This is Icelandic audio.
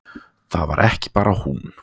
Það var ekki bara hún.